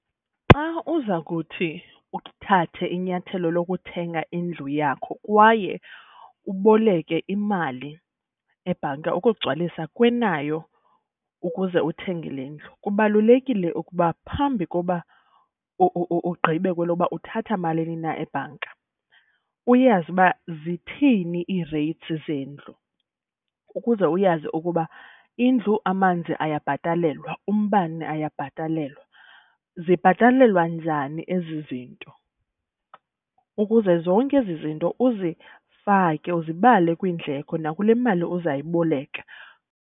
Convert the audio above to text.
Xa uza kuthi uthathe inyathelo lokuthenga indlu yakho kwaye uboleke imali ebhanka ukugcwalisa kwenayo ukuze uthenge le ndlu, kubalulekile ukuba phambi koba ugqibe kwelokuba uthatha malini na ebhanka uyazi uba zithini ii-rates zendlu. Ukuze uyazi ukuba indlu, amanzi ayabhatalelwa, umbane ayabhatalelwa, zibhatalelwa njani ezi zinto. Ukuze zonke ezi zinto uzifake, uzibale kwinidleko nakule mali uzayiboleka.